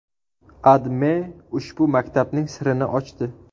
AdMe ushbu maktabning sirini ochdi .